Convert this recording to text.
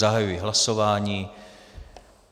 Zahajuji hlasování.